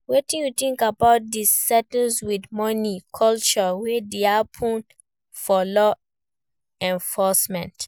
Wetin you think about di 'settle with money' culture wey dey happen for law enforcement?